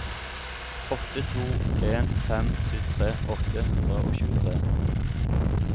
åtte to en fem syttitre åtte hundre og tjuetre